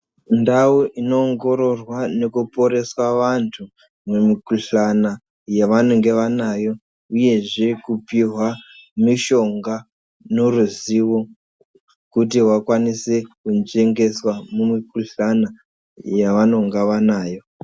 Ndau inoongororwa nekuporesa vantu mumikuhlana yavanenge vanayo uyezve kupihwa mishonga noruzivo kuti vakwanise kunzvengeswa mumikuhlana yavanenge vanayo.